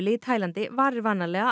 í Taílandi varir vanalega